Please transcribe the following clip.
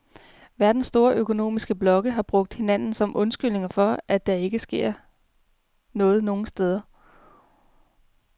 Verdens store økonomiske blokke har brugt hinanden som undskyldning for, at der ikke sker noget nogen steder.